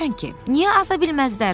“Niyə aza bilməzlər?”